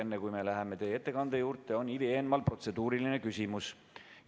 Enne kui me läheme teie ettekande juurde, on Ivi Eenmaal protseduuriline küsimus.